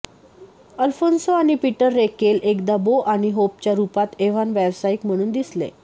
Alphonso आणि Peter Reckell एकदा Bo आणि होपच्या रुपात एव्हॉन व्यावसायिक म्हणून दिसले